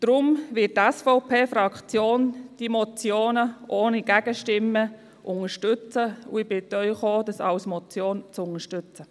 Deshalb wird die SVP-Fraktion diese Motionen ohne Gegenstimmen unterstützen, und ich bitte Sie auch, das als Motion zu unterstützen.